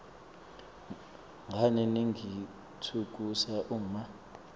ngani ningitfukusa uma